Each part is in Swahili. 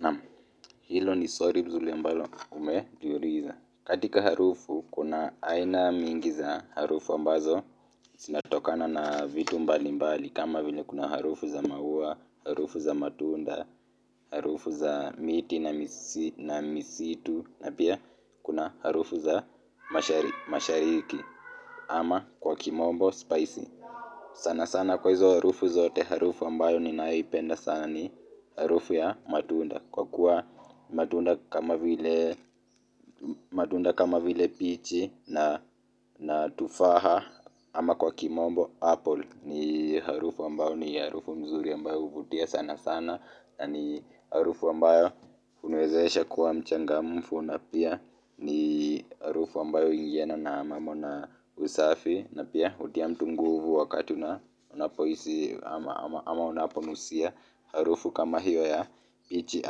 Naam, hilo ni swali nzuri ambalo, umejiuliza. Katika harufu kuna aina mingi za harufu ambazo zinatokana na vitu mbali mbali, kama vile kuna harufu za maua, harufu za matunda, harufu za miti na misitu, na pia kuna harufu za mashariki ama kwa kimombo spicy. Sana sana kwa hizo harufu zote harufu ambayo ninayoipenda sana ni harufu ya matunda kwa kuwa matunda kama vile pichi na tufaha ama kwa kimombo apple ni harufu ambayo ni harufu mzuri ambayo huvutia sana sana na ni harufu ambayo huniwez esha kuwa mchanga mfu na pia ni harufu ambayo huingiana na mambo na usafi na pia hutia mtunguvu wakati una pohisi ama unaponusia harufu kama hiyo ya pichi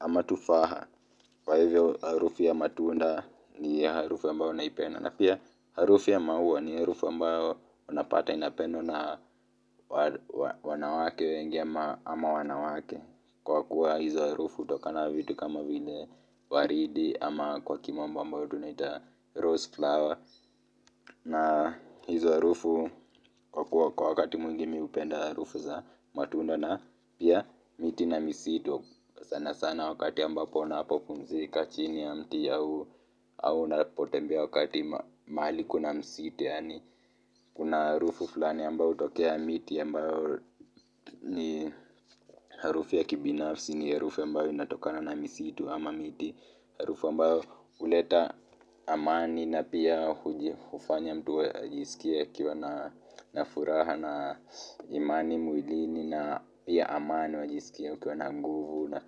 ama tufaha kwa hivyo harufu ya matunda ni harufu ambayo naipenda na pia harufu yamaua ni harufu ambayo unapata inapendwa na wanawake wengi ama wanawake kwa kuwa hizo harufu hutokanana vitu kama vile waridi ama kwa kimombo ambayo tunaita rose flower na hizo harufu kwa kuwa kwa wakati mwingimimi hupenda harufu za matunda na pia miti na misitu sana sana wakati ambapo napopunzi kachini ya mti au na potembea wakati mahali kuna misitu yaani kuna harufu fulani ambayo hutokea miti ambayo ni harufu ya kibinafsi ni harufu ambayo inatokana na misi tu ama miti harufu ambayo huleta amani na pia hufanya mtu wa ajisikie akiwa na furaha na imani mwilini na pia amani una jisikia ukiwa na nguvu na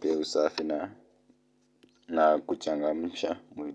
pia usafi na kuchangamsha mwili.